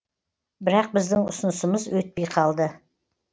бірақ біздің ұсынысымыз өтпей қалды